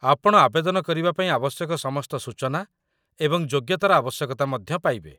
ଆପଣ ଆବେଦନ କରିବା ପାଇଁ ଆବଶ୍ୟକ ସମସ୍ତ ସୂଚନା ଏବଂ ଯୋଗ୍ୟତାର ଆବଶ୍ୟକତା ମଧ୍ୟ ପାଇବେ।